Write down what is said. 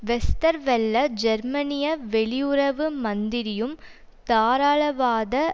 Westerwelle ஜெர்மனிய வெளியுறவு மந்திரியும் தாராளவாத